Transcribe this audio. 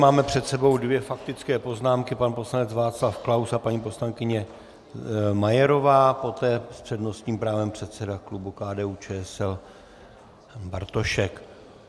Máme před sebou dvě faktické poznámky - pan poslanec Václav Klaus a paní poslankyně Majerová, poté s přednostním právem předseda klubu KDU-ČSL Bartošek.